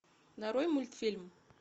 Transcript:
нарой мультфильм